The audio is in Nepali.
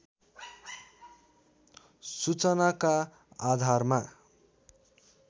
सूचनाका आधारमा